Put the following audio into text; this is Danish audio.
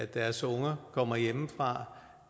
deres unger kommer hjemmefra